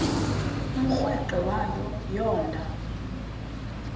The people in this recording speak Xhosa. umrweqe wayo yoonda